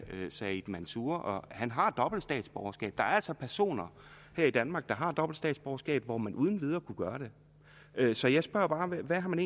said mansour som har dobbelt statsborgerskab der er altså personer her i danmark der har dobbelt statsborgerskab og hvor man uden videre kunne gøre det så jeg spørger bare hvad har man